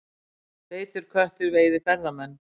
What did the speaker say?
Feitur köttur veiði ferðamenn